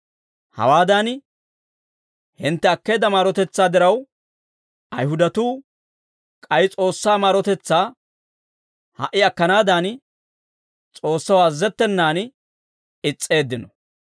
Hawaadan, hintte akkeedda maarotetsaa diraw, Ayihudatuu k'ay S'oossaa maarotetsaa ha"i akkanaadan, S'oossaw azazettenan is's'eeddino.